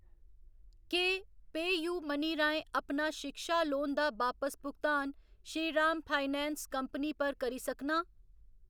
केह् पेऽयू मनी राहें अपना शिक्षा लोन दा बापस भुगतान श्रीराम फाइनेंस कंपनी पर करी सकनां?